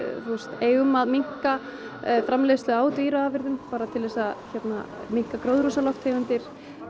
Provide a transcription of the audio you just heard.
eigum að minnka framleiðslu á dýraafurðum bara til þess að minnka gróðurhúsalofttegundir